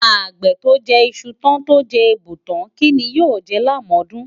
Àgbè tó jẹ iṣu tán tó jẹ èèbù tán, kí ni yóò jẹ lámọ̀ọ́dún?